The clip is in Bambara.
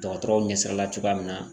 Dɔgɔtɔrɔw ɲɛsirala cogoya min na.